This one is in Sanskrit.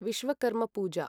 विश्वकर्म पूजा